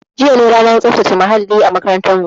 Jiya ne ranar tsaftace muhalli a makarantarmu